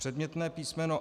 Předmětné písm.